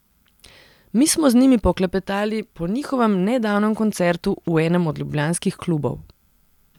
Mi smo z njimi poklepetali po njihovem nedavnem koncertu v enem od ljubljanskih klubov.